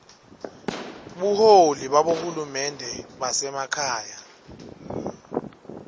buholi babohulumende basekhaya